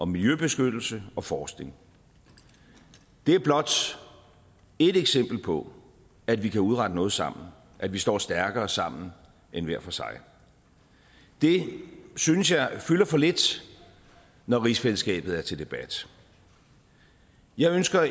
miljøbeskyttelse og forskning det er blot ét eksempel på at vi kan udrette noget sammen at vi står stærkere sammen end hver for sig det synes jeg fylder for lidt når rigsfællesskabet er til debat jeg ønsker